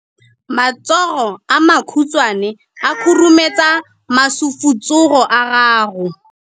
Matsogo a makhutshwane a khurumetsa masufutsogo a gago.